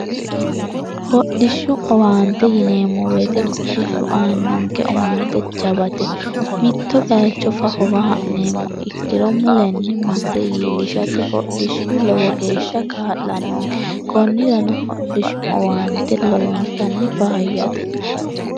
hodhishshu owaante yineemmo weite hodhishshu aannonke owaante jawate mitto baacho fafowa ha'neemmo ikkiro mu lenni masse yiillishate hodhishshu lowo geeshsha kaa'lannoonke kunnirano hodhishshu owaante lowontanni faayyate